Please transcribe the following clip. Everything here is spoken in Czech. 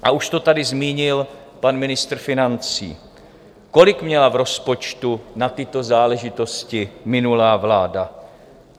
A už to tady zmínil pan ministr financí: kolik měla v rozpočtu na tyto záležitosti minulá vláda?